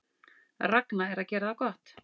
Ragna að gera það gott